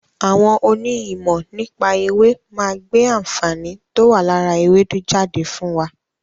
Àwọn òní ìmọ̀ nípa èwe máa gbé àǹfààní towa lára ewédú jáde fún wa